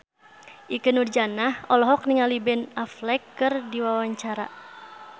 Ikke Nurjanah olohok ningali Ben Affleck keur diwawancara